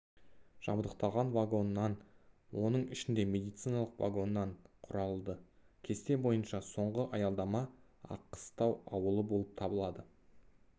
жабдықталған вагоннан оның ішінде медициналық вагоннан құралды кесте бойынша соңғы аялдама аққыстау ауылы болып табылады